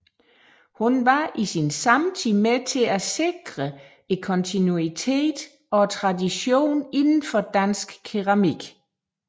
Hun var i sin samtid med til at sikre kontinuiteten og traditionen indenfor dansk keramik